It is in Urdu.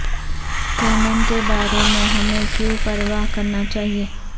کینن کے بارے میں ہمیں کیوں پرواہ کرنا چاہئے